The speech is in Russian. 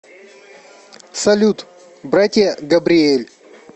салют братья габриэль